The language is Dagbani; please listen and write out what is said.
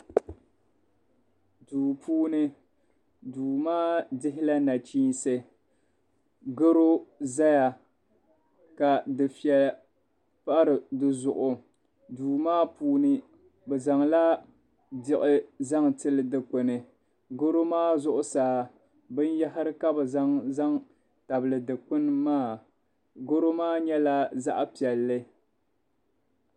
Duu puuni duu maa dihila nachiinsi garo zaya ka dufɛli pa di zuɣu duu maa puuni bɛ zaŋla Diɣu zaŋ tili dukpuni garo maa zuɣusaa binyɛhiri ka bɛ zaŋ n-zaŋ tabili dukpuni maa garo maa nyɛla zaɣ'piɛlli.